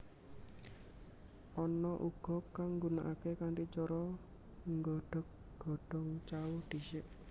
Ana uga kang nggunakaké kanthi cara nggodhog godhong cao dhisik